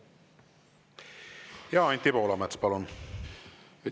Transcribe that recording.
Ja Anti Poolamets, palun!